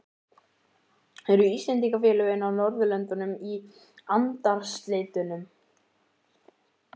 Eru Íslendingafélögin á Norðurlöndunum í andarslitrunum?